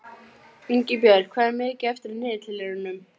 Ingibjört, hvað er mikið eftir af niðurteljaranum?